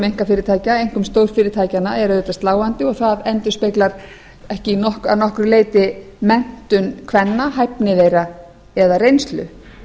einkafyrirtækja einkum stórfyrirtækjanna er auðvitað sláandi og það endurspeglar ekki að nokkru leyti menntun kvenna hæfni þeirra eða reynslu